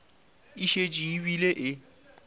e šetše e bile e